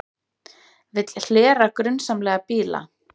Vill hlera grunsamlega bíla